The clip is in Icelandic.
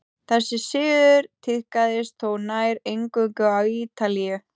þessi siður tíðkaðist þó nær eingöngu á ítalíu